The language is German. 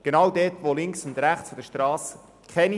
Denn dort müsste es auch nicht umgesetzt werden.